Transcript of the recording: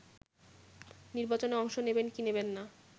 নির্বাচনে অংশ নেবেন কি নেবেন না